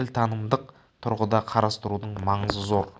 тілтанымдық тұрғыда қарастырудың маңызы зор